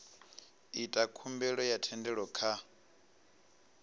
ita khumbelo ya thendelo kha